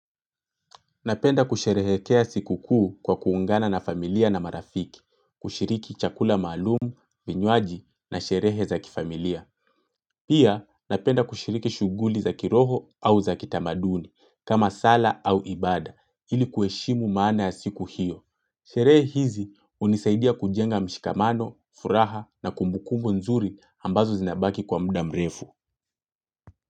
Napenda kusherehekea siku kuu kwa kuungana na familia na marafiki, kushiriki chakula malumu, vinywaji na sherehe za kifamilia. Pia, napenda kushiriki shughuli za kiroho au za kitamaduni, kama sala au ibada, ili kueshimu maana ya siku hiyo. Sherehe hizi hunisaidia kujenga mshikamano, furaha na kumbukumbu nzuri ambazo zinabaki kwa muda mrefu.